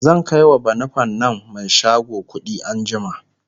zan kaiwa banufen nan Mai shago kuɗi anjima